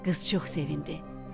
Qız çox sevindi.